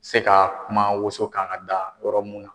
Se ka kuma woso kan ka da yɔrɔ mun na.